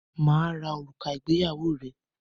Mà á ra òrùka ìgbéyàwó rẹ.